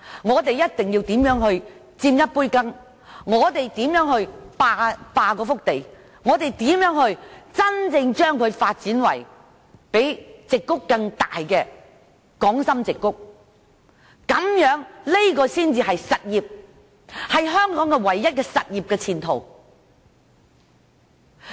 我們一定要設法分一杯羹、霸一幅地，真真正正把該處發展為較加州矽谷更大的港深矽谷，這才是實業，才是香港唯一的前途。